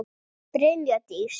Brynja Dís.